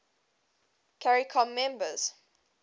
caricom members